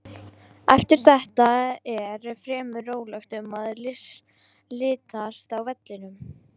Eftir þetta er fremur rólegt um að litast á vellinum.